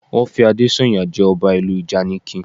Wọ́n fi Adésànyà jẹ ọba ìlú ìjànikin